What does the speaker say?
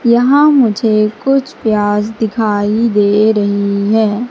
यहां मुझे कुछ प्याज दिखाई दे रही है।